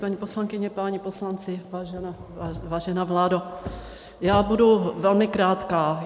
Paní poslankyně, páni poslanci, vážená vládo, já budu velmi krátká.